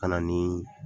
Ka na nii